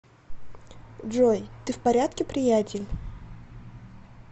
джой ты в порядке приятель